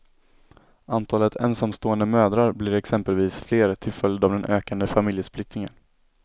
Antalet ensamstående mödrar blir exempelvis fler till följd av den ökade familjesplittringen.